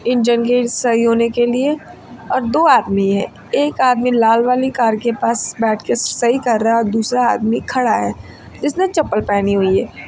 सही होने के लिए और दो आदमी हैं एक आदमी लाल वाली कार के पास बैठ के सही कर रहा है और दूसरा आदमी खड़ा है जिसने चप्पल पहनी हुई है।